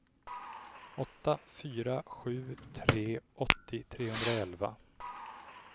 åtta fyra sju tre åttio trehundraelva